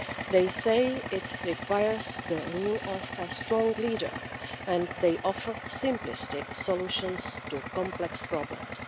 They say it requires the rule of a strong leader and they offer simplistic solutions to complex problems.